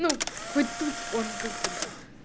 ну хоть тут он как бы да